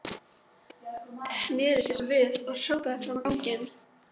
Sneri sér svo við og hrópaði fram á ganginn.